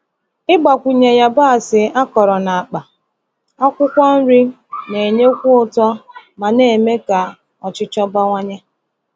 Ịgbakwunye yabasị akọrọ n’akpa akwụkwọ nri na-enyekwu ụtọ ma na-eme ka ọchịchọ bawanye.